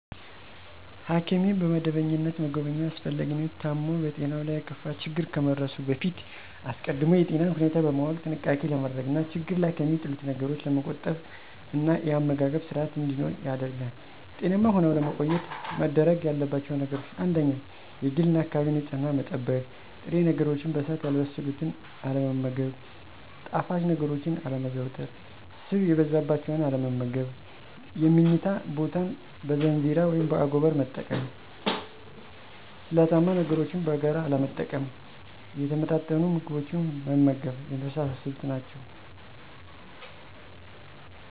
ሐኪምን በመደበኛነት መጎብኘት አስፈላጊነቱ ታሞ በጤናው ላይ የከፋ ችግር ከመድረሱ በፊት አስቀድሞ የጤናን ሁኔታ በማወቅ ጥንቃቄ ለማድረግ እና ችግር ላይ ከሚጥሉት ነገሮች ለመቆጠብ እና የአመጋገብ ስርአት እንዲኖር ያደርጋል። ጤናማ ሁነው ለመቆየት መደረግ ያለባቸው ነገሮች : 1-የግልና የአካባቢን ንጽህና መጠበቅ። 2-ጥሬ ነገሮችን በእሳት ያልበሰሉትን አለመመገብ። 3-ጣፋጭ ነገሮችን አለማዘውተር። 4-ስብ የበዛባቸውን አለመመገብ። 5-የምኝታ ቦታን በዛንዚራ (በአጎበር)መጠቀም። 6-ስለታማ ነገሮችን በጋራ አለመጠቀም። 7-የተመጣጠኑ ምግቦችን መመገብ የመሳሰሉት ናቸው።